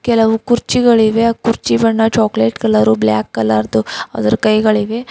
ಕೆಲವು ಕುರ್ಚಿಗಳಿವೆ ಆ ಕುರ್ಚಿ ಬಣ್ಣ ಚೋಕಲೆಟ್ ಕಲರು ಬ್ಲಾಕ್ ಕಲರ ದು ಅದರ ಕೈಗಳಿವೆ.